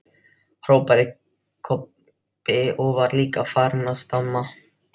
hrópaði Kobbi og var líka farinn að stama.